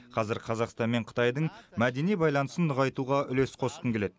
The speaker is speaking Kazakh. қазір қазақстан мен қытайдың мәдени байланысын нығайтуға үлес қосқым келеді